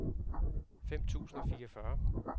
fem tusind og fireogfyrre